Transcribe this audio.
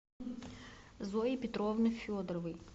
зои петровны федоровой